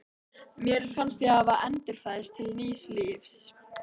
Mér fannst ég hafa endurfæðst til nýs lífs.